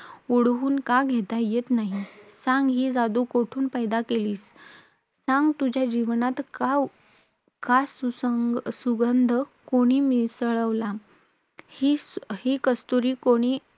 ओढून का घेता येत नाही? सांग, ही जादू कोठून पैदा केलीस? सांग, तुझ्या जीवनात का सुसंग अं हा सुगंध कोणी मिसळला? ही कस्तूरी कोणी